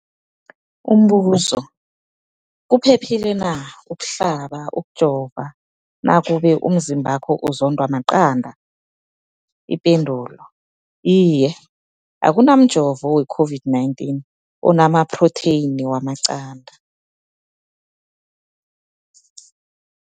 Umbuzo, kuphephile na ukuhlaba, ukujova nakube umzimbakho uzondwa maqanda. Ipendulo, Iye. Akuna mjovo we-COVID-19 ona maphrotheyini wamaqanda.